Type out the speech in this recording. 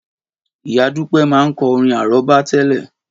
Ìyá Dupe máa ń kọ orin àrọ́bá tẹ́lẹ̀